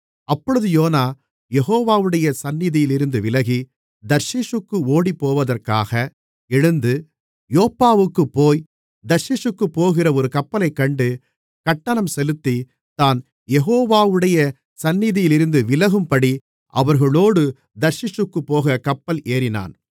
அப்பொழுது யோனா யெகோவாவுடைய சந்நிதியிலிருந்து விலகி தர்ஷீசுக்கு ஓடிப்போவதற்கா எழுந்து யோப்பாவுக்குப் போய் தர்ஷீசுக்குப்போகிற ஒரு கப்பலைக்கண்டு கட்டணம் செலுத்தி தான் யெகோவாவுடைய சந்நிதியிலிருந்து விலகும்படி அவர்களோடு தர்ஷீசுக்குப் போகக் கப்பல் ஏறினான்